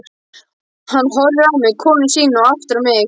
Hann horfir á mig, konu sína og aftur á mig.